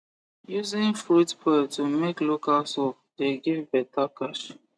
using fruit pearl to make local soap the give beta cash